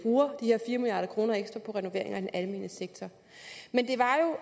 her fire milliard kroner ekstra på renovering af den almene sektor men det